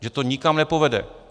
Že to nikam nepovede.